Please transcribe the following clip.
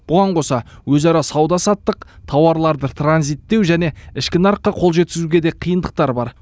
бұған қоса өзара сауда саттық тауарларды транзиттеу және ішкі нарыққа қол жеткізуге де қиындықтар бар